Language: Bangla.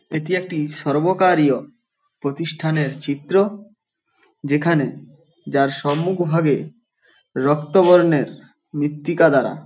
এটি একটি সর্বকারীয় প্রতিষ্ঠানের চিত্র যেখানে যার সম্মুখভাগে রক্তবর্ণের মৃত্তিকা দ্বারা --